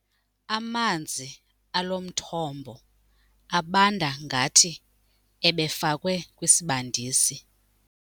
Amanzi alo mthombo abanda ngathi ebefakwe kwisibandisi.